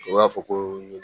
U b'a fɔ ko ɲinɛ